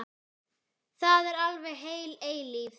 Það er alveg heil eilífð.